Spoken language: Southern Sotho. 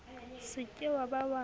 se ke wa ba wa